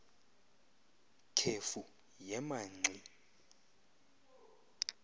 khefu yema ngxi